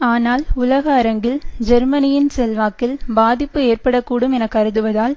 ஆனால் உலக அரங்கில் ஜெர்மனியின் செல்வாக்கில் பாதிப்பு ஏற்பட கூடும் என கருதுவதால்